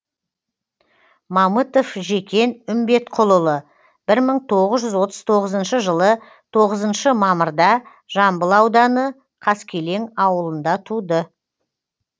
мамытов жекен үмбетқұлұлы бір мың тоғыз жүз отыз тоғызыншы жылы тоғызыншы мамырда жамбыл ауданы қаскелең ауылында туды